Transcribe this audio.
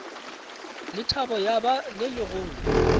lethabo ya ba le legolo